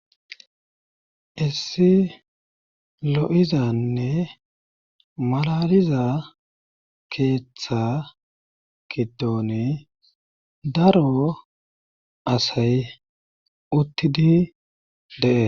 Issi lo7izanne malaliza keeththa gidoni daro asay uttidi dees.